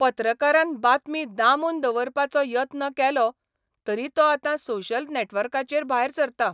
पत्रकारान बातमी दामून दवरपाचो यत्न केलो तरी तो आतां सोशल नॅटवर्काचर भायर सरता.